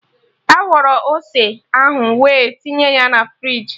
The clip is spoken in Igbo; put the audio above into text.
Akwọrọ ose ahụ we tinye ya na friji